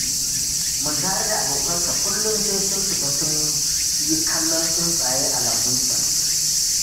Muntari da abokansa kullum sai sun fita sun yi kallon tsuntsaye a lambun can